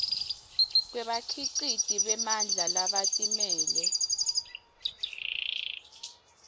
kwebakhiciti bemandla labatimele